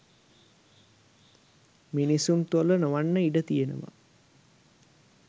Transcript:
මිනිසුන් තුළ නොවන්න ඉඩ තියෙනවා.